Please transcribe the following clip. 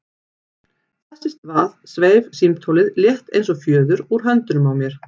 Þess í stað sveif símtólið, létt eins og fjöður, úr höndunum á mér.